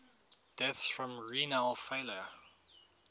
deaths from renal failure